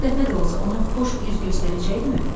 Bir dəfə də olsa ona xoş üz göstərəcəkdimi?